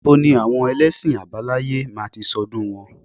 Ní bo ni àwọn elẹ́sìn àbáláyé máa ti ṣọ́dún wọn?